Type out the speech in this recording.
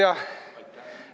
Aitäh!